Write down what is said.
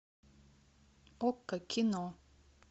окко кино